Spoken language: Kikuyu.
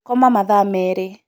koma mathaa merĩ